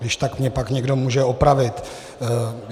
Když tak mě pak někdo může opravit.